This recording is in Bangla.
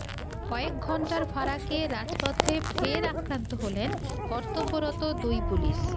কয়েক ঘণ্টার ফারাকে রাজপথে ফের আক্রান্ত হলেন কর্তব্যরত দুই পুলিশ